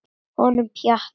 Honum Pjatta?